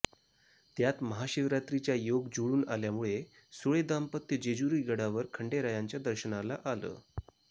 त्यात महाशिवरात्रीचा योग जुळून आल्यामुळे सुळे दाम्पत्य जेजुरी गडावर खंडेरायांच्या दर्शनाला आलं